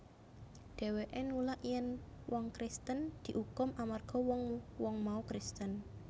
Dhèwèké nulak yèn wong Kristen diukum amarga wong wong mau Kristen